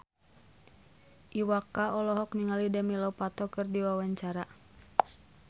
Iwa K olohok ningali Demi Lovato keur diwawancara